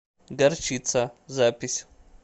горчица запись